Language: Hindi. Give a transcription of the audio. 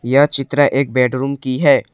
यह चित्र एक बेडरूम की है।